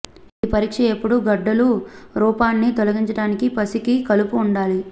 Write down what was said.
ఈ పరీక్ష ఎప్పుడూ గడ్డలూ రూపాన్ని తొలగించడానికి పిసికి కలుపు ఉండాలి